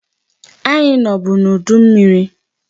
Anyị nọbụ n'udu mmiri.